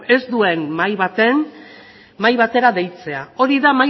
ez duen mahai batera deitzea hori da